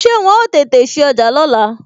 Ṣé wọn ó tètè sí ọjà lóla?